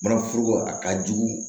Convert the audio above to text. Manaforoko a ka jugu